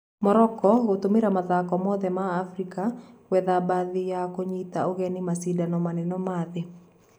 Morocco gũtũmĩra mathako mothe ma Afrika gwetha bathi ya kũnyita ũgeni macindano manene ma thĩ